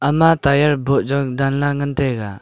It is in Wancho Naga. ma tire boh jaw danley ngan taiga.